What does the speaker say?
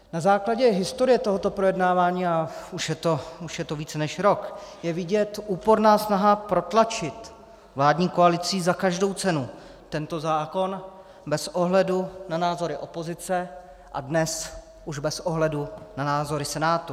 Na základě historie tohoto projednávání, a už je to více než rok, je vidět úporná snaha protlačit vládní koalicí za každou cenu tento zákon bez ohledu na názory opozice a dnes už bez ohledu na názory Senátu.